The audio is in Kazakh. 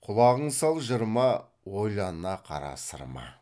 құлағың сал жырыма ойлана қара сырыма